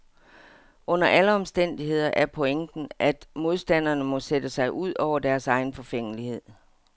Under alle omstændigheder er pointen, at modstanderne må sætte sig ud over deres egen forfængelighed.